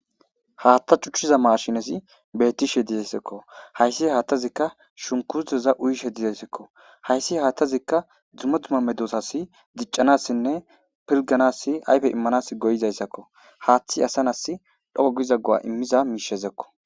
haatta cuchchiza maashinesi bettishe dizayssekko hayssi haattazikka shunkurteza uyishe dizayssekko hayssi haattazikka dzumeduma medosas diccanassinne pilganassi ayfe immanas goyizayssakko haaththi asanas dhoo giza go7a immiza miishezekko